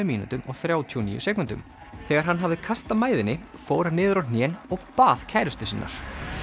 mínútum og þrjátíu og níu sekúndum þegar hann hafði kastað mæðinni fór hann niður á hnén og bað kærustu sinnar